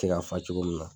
Tɛ ka fa cogo min na